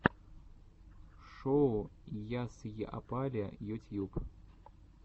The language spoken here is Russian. шоу ясйапали ютьюб